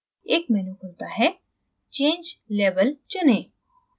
एक menu खुलता है change label चुनें